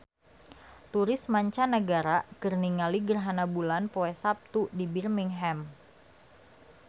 Turis mancanagara keur ningali gerhana bulan poe Saptu di Birmingham